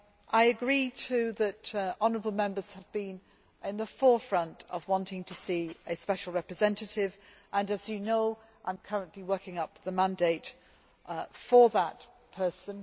I agree, too, that honourable Members have been in the forefront of wanting to see a special representative, and as you know I am currently working on the mandate for that person.